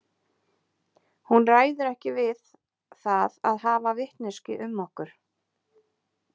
Hún ræður ekki við það að hafa vitneskju um okkur.